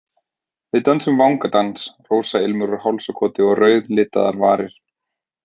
Við dönsum vangadans, rósailmur úr hálsakoti, rauðlitaðar varir.